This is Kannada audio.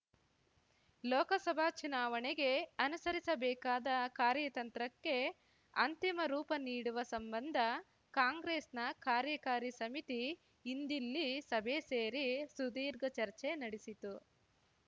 ಲೋಕಸಭಾ ಚುನಾವಣೆಗೆ ಅನುಸರಿಸಬೇಕಾದ ಕಾರ್ಯತಂತ್ರಕ್ಕೆ ಅಂತಿಮ ರೂಪ ನೀಡುವ ಸಂಬಂಧ ಕಾಂಗ್ರೆಸ್‌ನ ಕಾರ್ಯಕಾರಿ ಸಮಿತಿ ಇಂದಿಲ್ಲಿ ಸಭೆ ಸೇರಿ ಸುದೀರ್ಘ ಚರ್ಚೆ ನಡೆಸಿತು